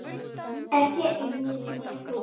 Ekki einu sinni þú.